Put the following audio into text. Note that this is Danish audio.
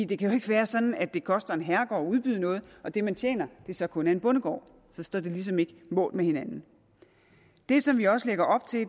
det kan jo ikke være sådan at det koster en herregård at udbyde noget og at det man tjener så kun er en bondegård så står det ligesom ikke mål med hinanden det som vi også lægger op til